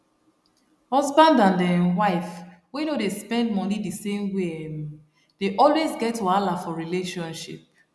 husband and um wife wey no dey spend money the same way um dey always get wahala for relationship